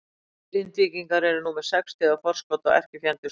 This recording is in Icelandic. Grindvíkingar eru nú með sex stiga forskot á erkifjendur sína.